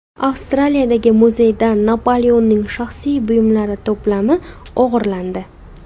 Avstraliyadagi muzeydan Napoleonning shaxsiy buyumlari to‘plami o‘g‘irlandi.